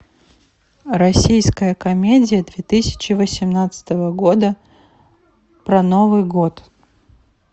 российская комедия две тысячи восемнадцатого года про новый год